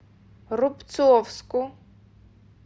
рубцовску